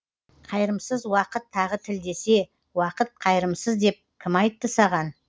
қайырымсыз уақыт тағы тілдесе уақыт қайырымсыз деп кім айтты саған